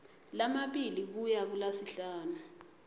lamabili kuya kulasihlanu